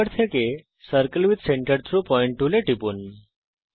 টুল bar থেকে circle with centre through point টুলে টিপুন